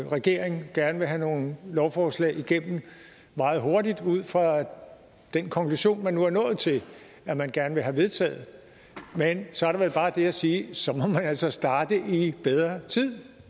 regering gerne vil have nogle lovforslag igennem meget hurtigt ud fra den konklusion men nu er nået til at man gerne vil have vedtaget men så er der vel bare det at sige at så må man altså starte i bedre tid